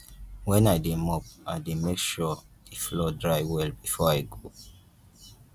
wen i dey mop i dey make sure the floor dry well before i go